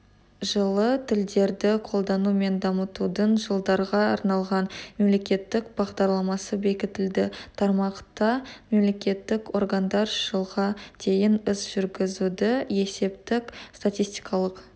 жылы тілдерді қолдану мен дамытудың жылдарға арналған мемлекеттік бағдарламасы бекітілді тармақта мемлекеттік органдар жылға дейін іс-жүргізуді есептік-статистикалық